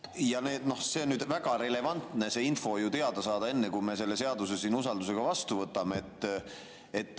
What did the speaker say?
Ja nüüd on väga relevantne see info teada saada enne, kui me selle seaduse siin usaldusega vastu võtame.